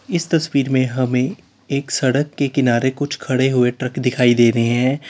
इस तस्वीर में हमें एक सड़क के किनारे कुछ खड़े हुए ट्रक दिखाई दे रहे हैं।